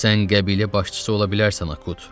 Sən qəbilə başçısı ola bilərsən Akut.